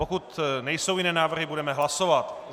Pokud nejsou jiné návrhy, budeme hlasovat.